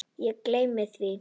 Ég gleymdi því.